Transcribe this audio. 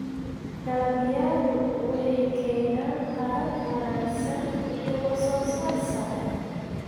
dalagyadu waxay keenaan qadhaadh wanaagsan iyo waxsoosaar sare.